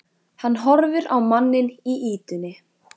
Hann horfir á manninn í ýtunni.